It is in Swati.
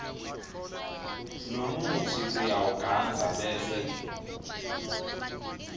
lomutsi uyawugandza bese